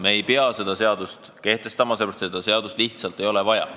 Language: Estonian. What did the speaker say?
Me ei pea seda seadust kehtestama, sellepärast et seda seadust lihtsalt ei ole vaja.